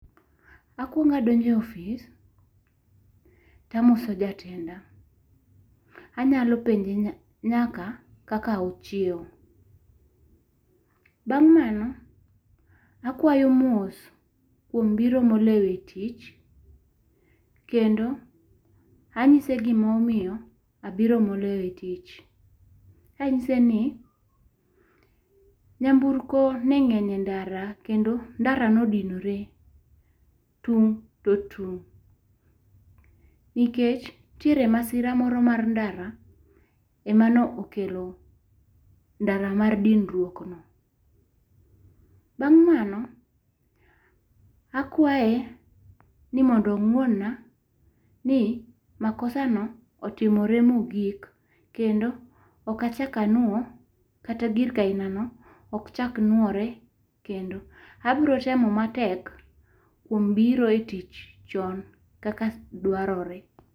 Akuongo adonjo e office to adhi to amoso jatenda, anyalo penje nyaka kaka ochiewo bang' mano akwayo mos kuom biro mo olewo tich ,ka angise gi ma omiyo alewo e tich ka ang'ise ni nyamburko ne ng'eny e ndara kendo ndara ne odinore tung' to tung' .Nikech nitiere masira moro mar ndara e ma ne okelo ndara mar dinruok mar ndara no. Bang' mano akwaye ni mondo ong'won na ni makosa no otimre mo gik kendo ok achak anwo kata gir ka aina no ok chak nwore kendo abiro temo matek kuom biro e tich chon kakak dwarore.